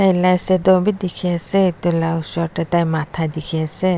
taila shadow b dikhi ase etu la osor de tai mata dikhi ase.